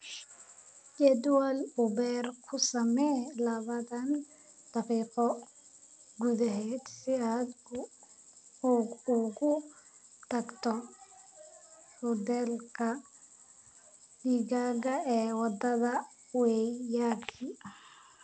jadwal uber ku samee labaatan daqiiqo gudaheed si aad ugu tagto hudheelka digaaga ee wadada waiyaki